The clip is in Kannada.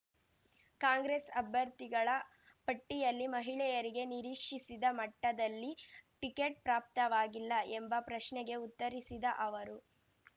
ಕಾಂಗ್ರೆಸ್‌ ಅಭ್ಯರ್ಥಿಗಳ ಪಟ್ಟಿಯಲ್ಲಿ ಮಹಿಳೆಯರಿಗೆ ನಿರೀಕ್ಷಿಸಿದ ಮಟ್ಟದಲ್ಲಿ ಟಿಕೆಟ್‌ ಪ್ರಾಪ್ತವಾಗಿಲ್ಲ ಎಂಬ ಪ್ರಶ್ನೆಗೆ ಉತ್ತರಿಸಿದ ಅವರು